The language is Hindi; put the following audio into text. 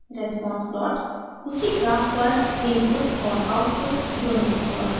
response plot उसी ग्राफ पर इनपुट और आउटपुट दोनों को प्लॉट करता है